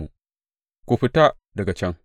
Ku fita, ku fita daga can!